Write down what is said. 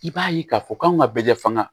I b'a ye k'a fɔ k'anw ka bɛɛ faga